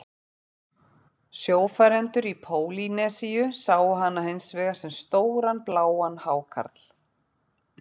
Sjófarendur í Pólýnesíu sáu hana hins vegar sem stóran bláan hákarl.